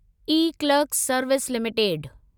eClerx service limited